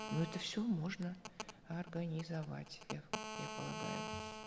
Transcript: но это все можно организовать их я полагаю